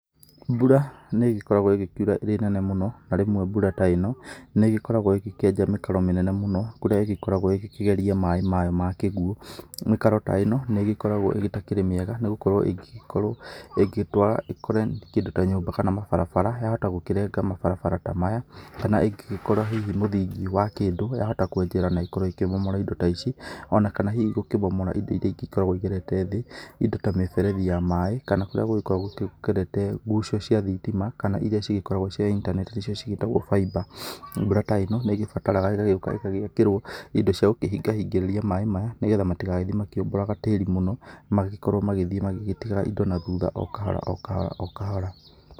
Mbura nĩ ĩgĩkoragwo ĩgĩkiura ĩrĩ nene mũno, na rĩmwe mbura ta ĩno, nĩ ĩgĩkoragwo ĩgĩkĩenja mĩkaro mĩnene mũno kũrĩa ĩgĩkoragwo ĩgĩkĩgeria maĩ mayo ma kĩguũ. Mĩkaro ta ĩno nĩ ĩgĩkoragwo ĩtakĩrĩ mĩega nĩ gũkorwo ĩngĩgĩkorwo ĩgĩtwara ĩkore kĩndũ ta nyũmba kana mabarabara, yahota gũkĩrenga mabarabara ta maya kana ingĩgĩkora hihi mũthingi wa kĩndũ, yahota gũkĩenjera na ĩkorwo ĩkĩmomora indo ta ici, o na kana hihi gũkĩmomora indo iria ingĩ ikoragwo hihi igerete thĩ, indo ta mĩberethi ya maĩ kana kũrĩa gũgĩkoragwo gũkĩgerete guco cia thitima kana iria cigĩkoragwo cia intaneti nĩcio cigĩtagwo fibre. Mbura ta ĩno nĩ ĩgĩbataraga ĩgagĩũka igagĩakĩrwo indo cia gũkĩhingahingĩrĩria maĩ maya, nĩgetha matigagĩthiĩ makĩũmbũraga tĩri mũno magĩkorwo magĩthiĩ magĩtigaga indo na thutha o kahora o kahora o kahora.